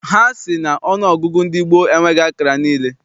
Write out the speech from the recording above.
Ha sị na ọnụọgụgụ ndị gboo enweghị akara niile.